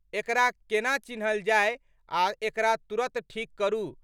एकरा केना चिन्हल जाए आ एकरा तुरंत ठीक करू।